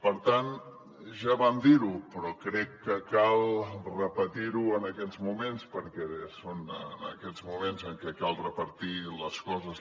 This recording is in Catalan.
per tant ja vam dir ho però crec que cal repetir ho en aquests moments perquè és en aquests moments en què cal repetir les coses